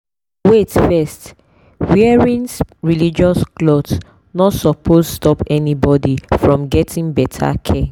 wait first wearing religious cloth no suppose stop anybody from getting better care.